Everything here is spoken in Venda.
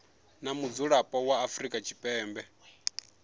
na mudzulapo wa afrika tshipembe